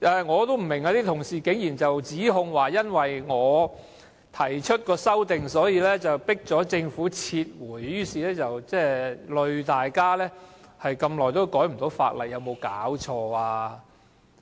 我不明白，為何會有同事聲稱，因為我提出修正案，迫使政府撤回《條例草案》，連累大家這麼久都無法修改法例，有沒有搞錯？